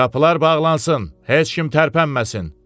Qapılar bağlansın, heç kim tərpənməsin.